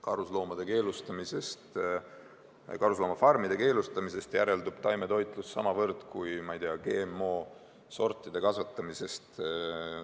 Karusloomafarmide keelustamisest järeldub taimetoitlus samavõrd kui, ma ei tea, GMO-sortide kasvatamisest.